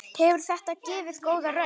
Hefur þetta gefið góða raun?